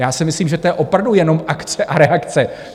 Já si myslím, že to je opravdu jenom akce a reakce.